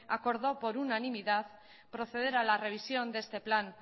acordó por unaminidad proceder a la revisión de este plan